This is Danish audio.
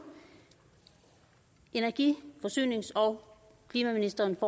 energi forsynings og klimaministeren